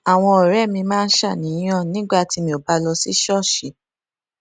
àwọn òré mi máa ń ṣàníyàn nígbà tí mi ò bá lọ sí ṣóòṣì